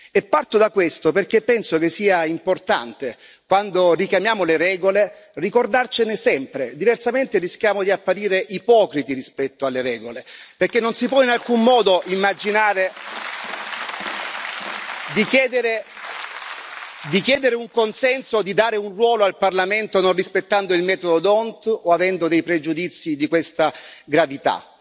E parto da questo, perché penso che sia importante quando richiamiamo le regole ricordarcene sempre, diversamente rischiamo di apparire ipocriti rispetto alle regole, perché non si può in alcun modo immaginare di chiedere un consenso o di dare un ruolo al Parlamento non rispettando il metodo d'Hondt o avendo dei pregiudizi di questa gravità.